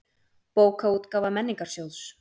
Bókaútgáfa Menningarsjóðs.